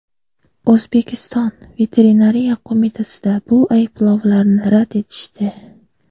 O‘zbekiston Veterinariya qo‘mitasida bu ayblovlarni rad etishdi.